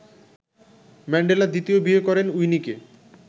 Mandela দ্বিতীয় বিয়ে করেন উইনিকে